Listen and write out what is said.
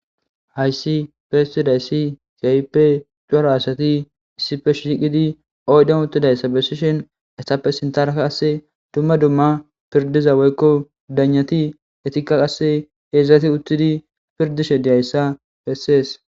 hayssi besidayssi kaype cora asati issipe shiqidi oydon uttidayssa bessishen ettappe sinthara Kase dumma dumma pirdiza woykko dagnati etikka qasse heezati uttidi pirdishe diyayssa bessees.